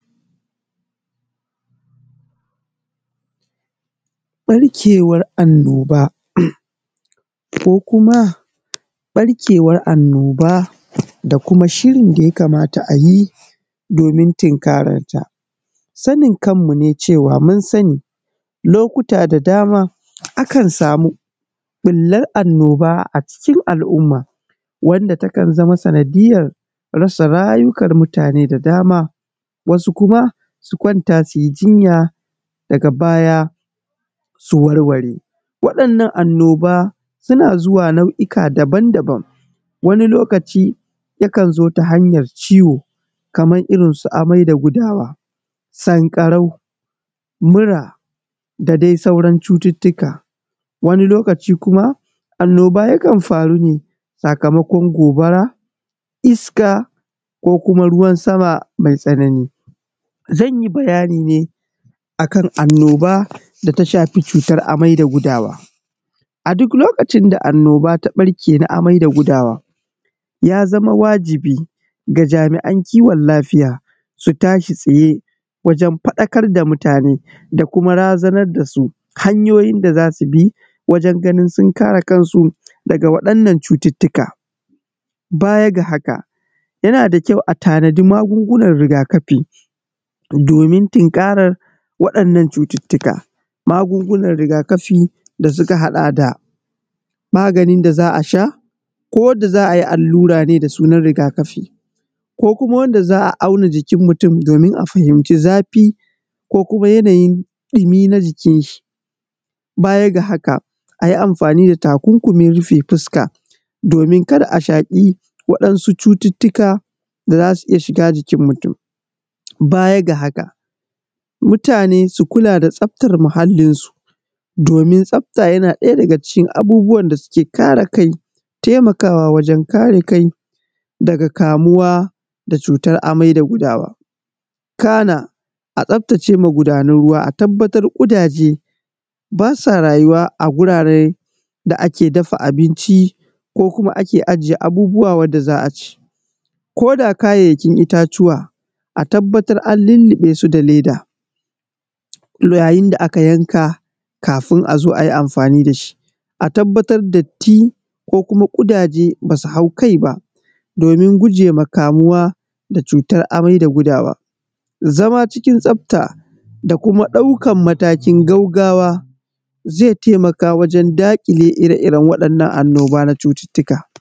Ɓarkewar annoba da kuma shirin da ya kamata a yi domin tunkararta. Sanin kanmu ne cewa mun sani lokuta da dama akan samu ɓullar annoba cikin al'umma a rasa rayukan mutane da dama, wasu kuma su kwanta su yi jinya daga baya su zo su warware. Waɗannan annoba suna zuwa nau'ika daban-daban wani lokaci yakan zo ta hanyar ciwo kamar irinsu amai da gudawa, sankarau, mura da dai saura cuttuttuka. Wani lokaci kuma annoba yakn faru ne sakamakon gobara iska ko kuma ruwan sama mai tsanani. Zan yi bayani ne akan annoba da ta shafi cutar amai da gudawa, a duk lokacin da cutar ta ɓarke na amai da gudawa ya zama wajibi ga jami'an kiwon lafiya su tashi tsaye wajen faɗakar da mutane da kuma razanar da su hanyoyin da za su bi wajenganin sun kare kansu daga waɗannan cututtuka. Baya ga haka, yana ƙyau a tanadi magungunan riga-kafi domin tunkarar waɗannan cututtuka. Magungunan riga kafi da suka hada da maganin da za a sha ko za ayi allura da sunan riga kafin ko kuma wanda za a auna a fahimci zafi ko kuma yanayin ɗimi na jikin shi baya aga haka a yi amfani da takunkumi rufe fuska domin kar a shaƙi iska da wasu cututtuka da za su iya shiga jikin mutum. Baya ga haka, mutane su kula da tsaftar muhallinsu domin tsafta na daya daga cikin abubuwan da suke kare kai da taimakawa wajen kare kai daga kamuwa da cutar amai da gudawa kana a taaftace magunan ruwa a tabbatar kudaje ba sa rayuwa a a guraren da ake dafa abinci ko ake ajiye abun da za a ci ko da kayayyakin itatuwa a tabbatar an lilliɓesu da leda yayin da aka yanka kafin a zo a yi amfani da shi fomin datti ko kuma ƙudaje ba su hau kai ba domin guje wa kamuwa da cutar amai da gudawa. Zama cikin tsafta da kuma ɗaukar mtKin gaggawa zai taimaka wajen daƙile irin waɗannan annoba na cututtuka.